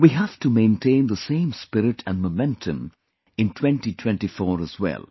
We have to maintain the same spirit and momentum in 2024 as well